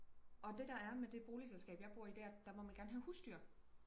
og det der er med det boligselskab jeg bor i det er at der må man gerne have husdyr